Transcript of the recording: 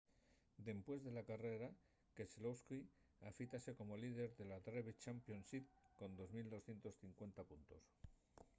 dempués de la carrera keselowski afítase como líder de la driver's championship con 2 250 puntos